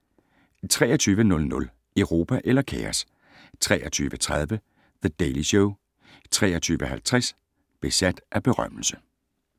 23:00: Europa eller kaos? 23:30: The Daily Show 23:50: Besat af berømmelse